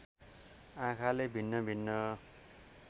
आँखाले भिन्न भिन्न